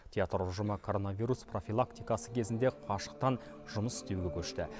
театр ұжымы коронавирус профилактикасы кезінде қашықтан жұмыс істеуге көшті